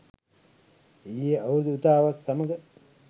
ඊයේ අවුරුදු උදාවත් සමඟ